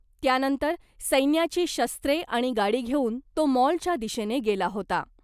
त्यानंतर सैन्याची शस्त्रे आणि गाडी घेऊन तो मॉलच्या दिशेनं गेला होता .